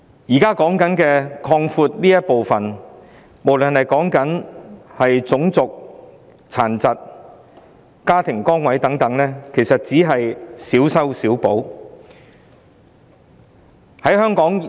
現行修例要擴闊的範疇，無論是涉及種族、殘疾、家庭崗位等，其實只是小修小補。